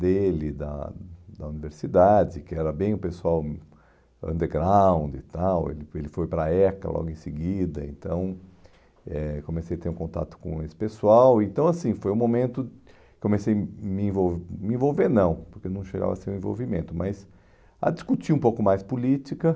dele, da da universidade, que era bem o pessoal hum underground e tal, ele foi ele foi para a ECA logo em seguida, então eh comecei a ter um contato com esse pessoal, então assim, foi um momento, comecei me envol a me envolver, não, porque não chegava a ser um envolvimento, mas a discutir um pouco mais política